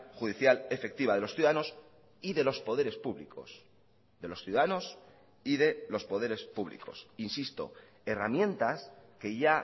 judicial efectiva de los ciudadanos y de los poderes públicos de los ciudadanos y de los poderes públicos insisto herramientas que ya